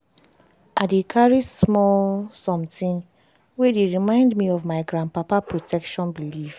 i dey carry small sometin wey dey remind me of my gran papa protection belief.